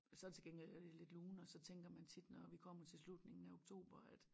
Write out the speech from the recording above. Så det til gengæld øh lidt lunere så tænker man tit når vi kommer til slutningen af oktober at